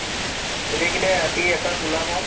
গোটেই কেইতাই ৰাতি এপাক ওলাম আৰু